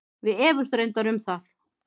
Við efumst reyndar um það.